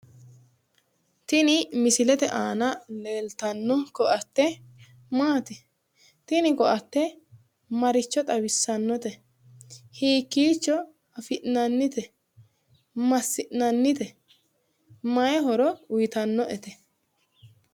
Tini misilete aana leeltanno koatte maati? Tini koatte maricho xawissannote? Hiikiicho afi'nannte? Massi'nannite? Mayii horo uyiitannote?